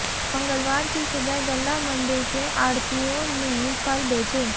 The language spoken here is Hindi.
मंगलवार की सुबह गल्ला मंडी के आढ़तियों ने फल बेचे